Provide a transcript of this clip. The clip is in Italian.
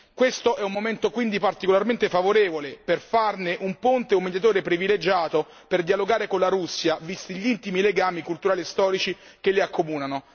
Questo è un momento quindi particolarmente favorevole per farne un ponte e un mediatore privilegiato per dialogare con la Russia, visti gli intimi legami culturali e storici che li accomunano.